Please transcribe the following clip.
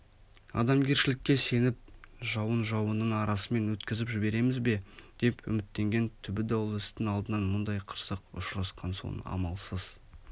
адамгершілікке сеніп жауын-жауынның арасымен өткізіп жібереміз бе деп үміттенген түбі даулы істің алдынан мұндай қырсық ұшырасқан соң амалсыз